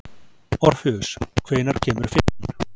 Orfeus, hvenær kemur fimman?